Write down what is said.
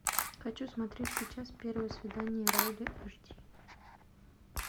хочу смотреть сейчас первое свидание райли аш ди